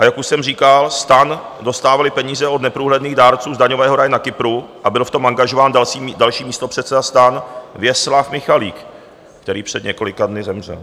A jak už jsem říkal, STAN dostával peníze od neprůhledných dárců z daňového ráje na Kypru a byl v tom angažován další místopředseda STAN Věslav Michalík, který před několika dny zemřel.